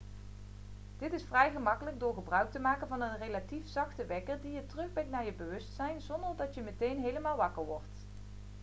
dit is vrij gemakkelijk door gebruik te maken van een relatief zachte wekker die je terugbrengt naar je bewustzijn zonder dat je meteen helemaal wakker wordt